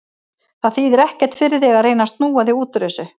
Það þýðir ekkert fyrir þig að reyna að snúa þig út úr þessu.